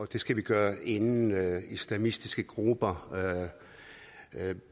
det skal vi gøre inden islamistiske grupper